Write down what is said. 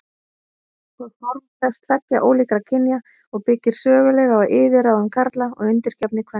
Það form krefst tveggja ólíkra kynja og byggir sögulega á yfirráðum karla og undirgefni kvenna.